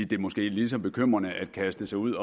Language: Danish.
det måske er lige så bekymrende at kaste sig ud